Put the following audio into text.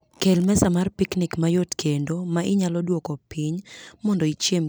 Kel mesa mar piknik mayot kendo ma inyalo duoko piny mondo ichiem kendo itim gik moko oko.